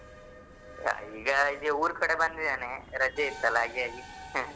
ಈಗ ಇಲ್ಲಿ ಉರ್ಕಡೆ ಬಂದಿದ್ದೇನೆ. ರಜೆ ಇತ್ತಲ ಹಾಗೆಯಾಗಿ ಹಾ